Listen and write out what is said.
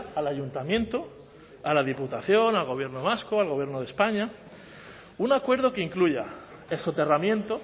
al ayuntamiento a la diputación al gobierno vasco al gobierno de españa un acuerdo que incluya el soterramiento